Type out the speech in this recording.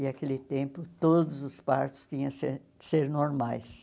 E, aquele tempo, todos os partos tinham ser ser normais.